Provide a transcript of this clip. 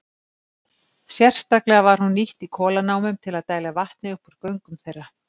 Sérstaklega var hún nýtt í kolanámum til að dæla vatni upp úr göngum þeirra.